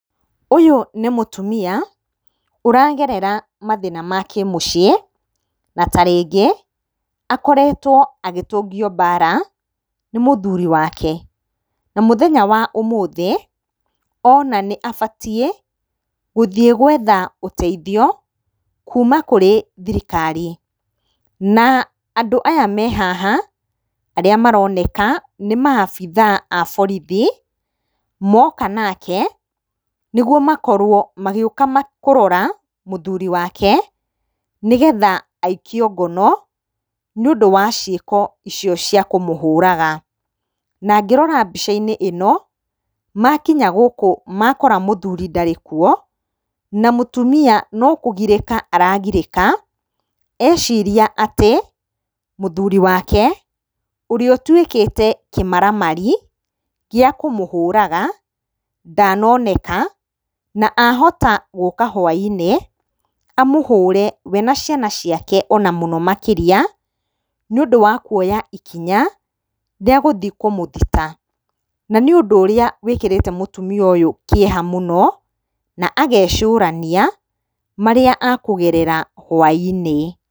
Ũyũ nĩ mũtumia, ũragerera mathĩna ma kĩ mũciĩ, na ta rĩngĩ akoretwo agĩtũngio mbara, nĩ mũthuri wake. Na mũthenya wa ũmũthĩ, ona nĩ abatiĩ gũthiĩ gũetha ũteithio kuuma kũrĩ thirikari. Na andũ aya me haha, arĩa maroneka nĩ maabithaa a borithi, moka nake nĩguo makorwo magĩũka kũrora mũthuri wake, nĩgetha aikio ngono, nĩ ũndũ wa ciĩko icio cia kũmũhũraga. Na ngĩrora mbica-inĩ ĩno, makinya gũkũ makora mũthuri ndarĩ kuo, na mũtumia no kũgirĩka aragirĩka, eciria atĩ mũthuri wake ũrĩa atuĩkĩte kĩmaramarĩ gĩa kũmũhũraga, ndanoneka, na ahota gũka hwa-inĩ amũhũre we na ciana ciake ona mũno makĩria, nĩ ũndũ wa kuoya ikonya rĩa gũthiĩ kũmũthita, na nĩ ũndũ ũrĩa wĩkĩrĩte mũtumia ũyũ kĩeha mũno, na agecũrania marĩa ekũgerera hwa-inĩ.